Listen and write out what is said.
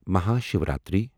Mahashivratri